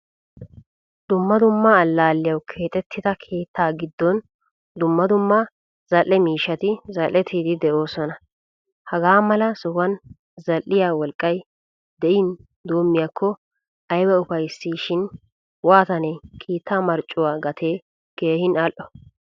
Dumma dumma allaliyawu keexettida keetta giddon dumma dumma zal'e miishshati zal'ettidi deosona. Hagaa mala sohuwan zal'iya wolqqay de'in doommiyako ayba ufayssishin waatane keetta marccuwaa gate keehin al'o.